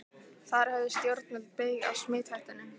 Þar höfðu stjórnvöld beyg af smithættunni.